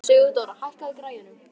Sigurdóra, hækkaðu í græjunum.